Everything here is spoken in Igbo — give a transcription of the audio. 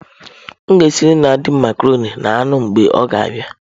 M ga-esiere nna di m macarọnị na anụ mgbe ọ ga abia.